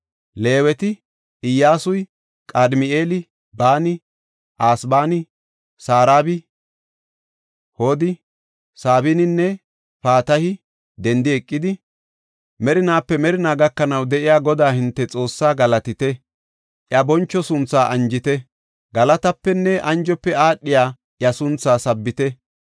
Leeweti, Iyyasuy, Qadimi7eeli, Baani, Asabaani, Sarabi Hodi, Sabaninne Patahi, “Dendi eqidi, merinaape merinaa gakanaw de7iya Godaa hinte Xoossa galatite!” “Iya boncho sunthaa anjite; galatapenne anjofe aadhiya iya sunthaa sabbite.”